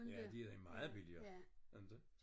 Ja de er meget billigere inte